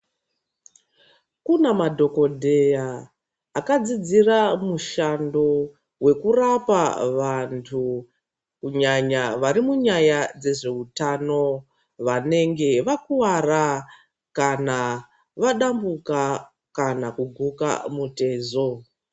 Kune madhokodheya akadzidzira mushando wekurapa vantu kunyanya vari munyaya dzezveutano vanenge vakuwara kana vadambuka kana kuguka mutezo.